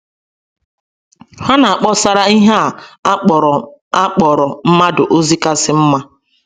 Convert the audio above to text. Ha na - akpọsara ihe a kpọrọ a kpọrọ mmadụ ozi kasị mma.